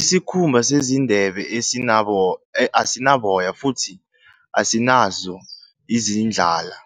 Isikhumba sezindebe asinaboya futhi asinazo izindlala